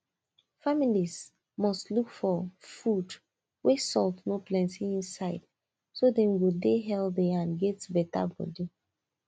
family must look for food wey salt no plenty inside so dem go dey healthy and get better body